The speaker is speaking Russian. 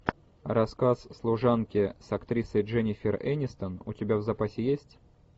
рассказ служанки с актрисой дженнифер энистон у тебя в запасе есть